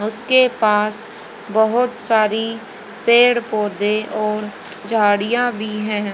उसके पास बहोत सारी पेड़ पौधे और झाड़ियां भी है।